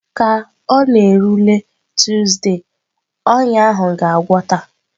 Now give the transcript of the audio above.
Ka ọ na-erule Tuuzde, ọnya ahụ ga-agwọta.